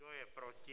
Kdo je proti?